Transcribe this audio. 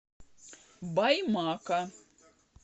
баймака